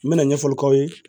N bɛna ɲɛfɔli k'aw ye